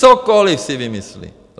Cokoliv si vymyslí!